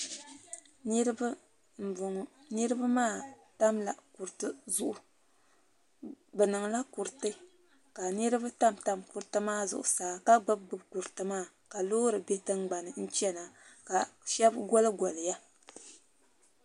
Niriba m boŋɔ niriba maa tamla kuriti zuɣu bɛ niŋla kuriti ka niriba tam tam kuriti maa zuɣusaa ka gbibi gbibi kuriti maa loori be tingbani n chena ka sheba goli goliya.